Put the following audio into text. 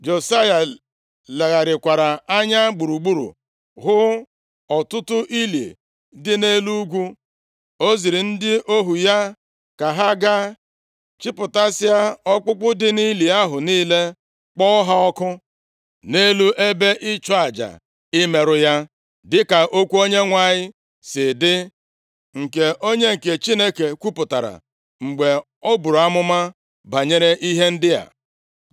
Josaya legharịkwara anya gburugburu hụ ọtụtụ ili dị nʼelu ugwu. O ziri ndị ohu ya ka ha gaa chịpụtasịa ọkpụkpụ dị nʼili ahụ niile, kpọọ ha ọkụ nʼelu ebe ịchụ aja imerụ ya, dịka okwu Onyenwe anyị si dị, nke onye nke Chineke kwupụtara mgbe o buru amụma banyere ihe ndị a.